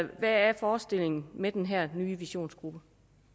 hvad forestiller man med den her nye visionsgruppe